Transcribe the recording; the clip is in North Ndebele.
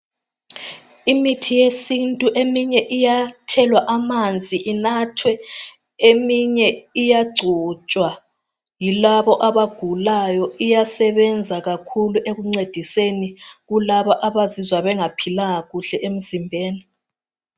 Imithi yesintu eminye iyathelwa amanzi inathwe. Eminye iyagcotshwa yilabo abagulayo. Iyasebenza kakhulu ekuncediseni kulabo abazizwa bengaphilanga kuhle emzimbeni.